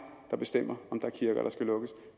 der bestemmer om der er kirker der skal lukkes